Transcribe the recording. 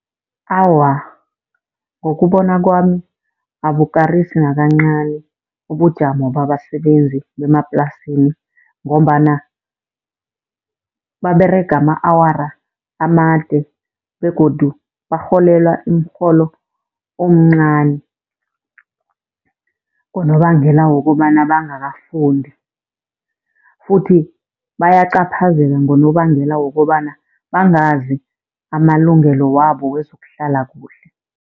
Awa, ngokubona kwami abukarisi nakancani ubujamo babasebenzi bemaplasini, ngombana baberega ama-awara amade begodu barholelwa umrholo omncani, ngonobangela wokobana bangakafundi. Futhi bayacaphazela ngonobangela wokobana bangazi amalungelo wabo wezokuhlala kuhle.